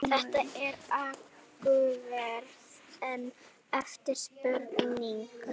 Ágústínus var afkastamikill rithöfundur og höfðu rit hans mikil áhrif á mótun kristindómsins í Vestur-Evrópu.